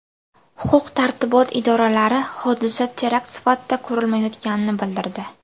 Huquq-tartibot idoralari hodisa terakt sifatida ko‘rilmayotganini bildirdi.